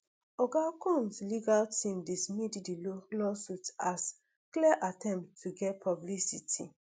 oga combs legal team dismiss di law lawsuits as clear attempt to get publicity